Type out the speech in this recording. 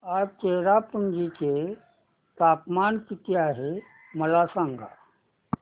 आज चेरापुंजी चे तापमान किती आहे मला सांगा